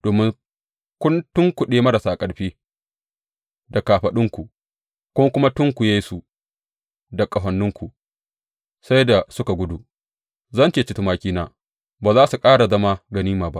Domin kun tunkuɗe marasa ƙarfi da kafaɗunku, kun kuma tunkuye su da ƙahoninku sai da suka gudu, zan cece tumakina ba za su ƙara zama ganima ba.